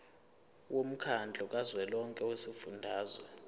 womkhandlu kazwelonke wezifundazwe